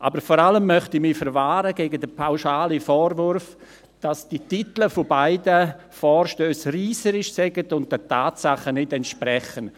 Aber vor allem möchte ich mich gegen den pauschalen Vorwurf verwahren, dass die Titel beider Vorstösse reisserisch seien und nicht den Tatsachen entsprächen.